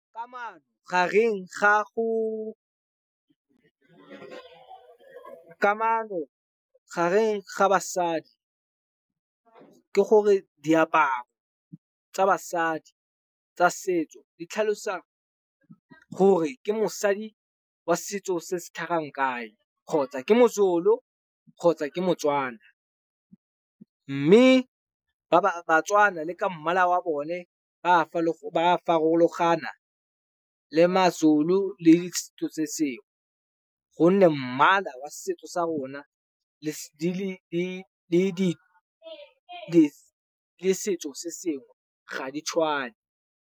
Kamano gareng ga kamano gareng ga basadi ke gore, diaparo tsa basadi tsa setso di tlhalosa gore ke mosadi wa setso se se tlhagang kae kgotsa ke mozulu kgotsa ke motswana. Mme batswana le ka mmala wa bone ba farologana le mazulu le setso se sengwe. Honne mmala wa setso sa rona le setso se sengwe ga di tshwane.